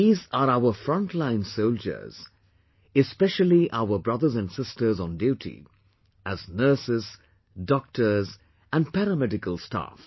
These are our front line soldiersespecially our brothers and sisters on duty as nurses, doctors and paramedical staff